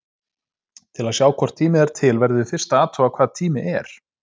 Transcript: Til að sjá hvort tími er til verðum við fyrst að athuga hvað tími er.